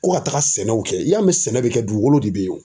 Ko ka taga sɛnɛw kɛ i y'a mɛn sɛnɛ bɛ kɛ dugukolo de bɛ ye o.